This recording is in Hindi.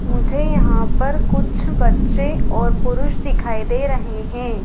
मुझे यहां पर कुछ बच्चे और पुरुष दिखाई दे रहे हैं।